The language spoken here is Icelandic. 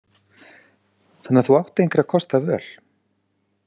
Þannig að þú átt engra kosta völ.